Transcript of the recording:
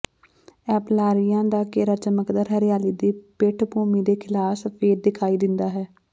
ਐਪਲਾਲੀਰੀਆ ਦਾ ਘੇਰਾ ਚਮਕਦਾਰ ਹਰਿਆਲੀ ਦੀ ਪਿੱਠਭੂਮੀ ਦੇ ਖਿਲਾਫ ਸਫੈਦ ਦਿਖਾਈ ਦਿੰਦਾ ਹੈ